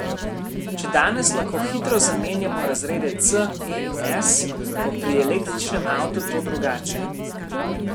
Če danes lahko hitro zamenjamo razrede C, E in S, bo pri električnem avtu to drugače.